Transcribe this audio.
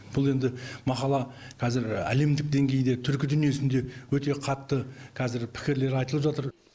бұл енді мақала қазір әлемдік деңгейде түркі дүниесінде өте қатты кәзір пікірлер айтылып жатыр